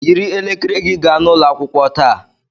Yiri elekere gị gaa n'ụlọ akwụkwọ taa